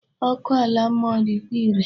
Ọkụ ala mmụọ dịkwa irè.